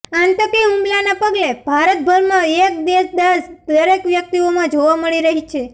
આંતકી હુમલાના પગલે ભારતભરમા એક દેશદાઝ દરેક વ્યકિતઓમાં જોવા મળી રહી છે